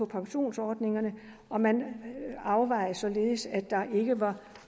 pensionsordninger og man afvejede det således at der ikke var